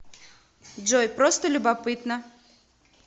джой просто любопытно